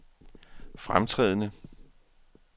fremtrædende